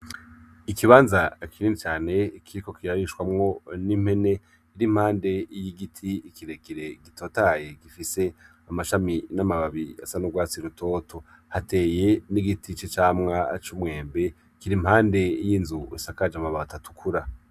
Ikibanza kinini cane kikiko kirarishwamwo n'impene iri impande y'igiti kirekire, gitotahaye gifise amashami n'amababi asa n'urwatsi rutoto. Hateye n'igiti c'icamwa c'umwembe kiri impande y'inzu isakaje amabati atukura.